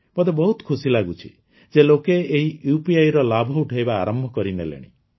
ମୋତେ ବହୁତ ଖୁସି ଲାଗୁଛି ଯେ ଲୋକେ ଏହି UPIର ଲାଭ ଉଠାଇବା ଆରମ୍ଭ କରିନେଲେଣି